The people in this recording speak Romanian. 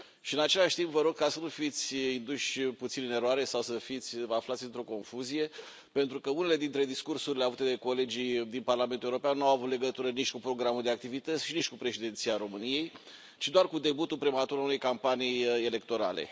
În același timp, vă rog să nu fiți induși puțin în eroare sau să vă aflați într o confuzie, pentru că unele dintre discursurile avute de colegii din Parlamentul European nu au avut legătură nici cu programul de activități și nici cu Președinția României, ci doar cu debutul prematur al unei campanii electorale.